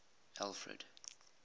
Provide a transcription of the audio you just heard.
alfred